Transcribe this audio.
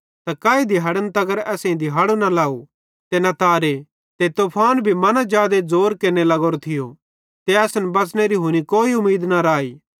त काई दिहाड़े न असेईं दिहाड़ो लाव ते न तारे ते तूफान भी मन्ना जादे ज़ोर केरने लग्गोरो थियो ते असन बच़नेरी हुनी कोई उमीद न राई